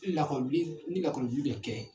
Ni lakɔli wili, ni lakɔli bi kɛ